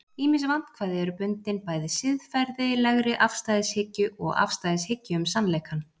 ýmis vandkvæði eru bundin bæði siðferðilegri afstæðishyggju og afstæðishyggju um sannleikann